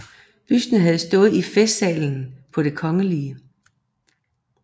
Busten havde stået i Festsalen på Det Kgl